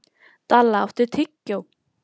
Dalla, áttu tyggjó?